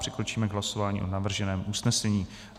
Přikročíme k hlasování o navrženém usnesení.